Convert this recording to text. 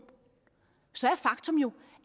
så er faktum jo